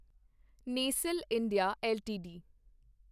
Nestle India LTD